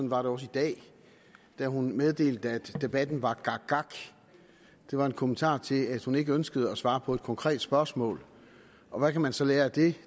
var det også i dag da hun meddelte at debatten var gakgak det var en kommentar til at hun ikke ønskede at svare på et konkret spørgsmål og hvad kan man så lære af det